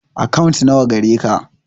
Akant na wa gareka?